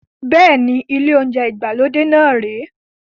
Bẹ́ẹ̀ni, ile ounjẹ ìgbàlódé náà rè é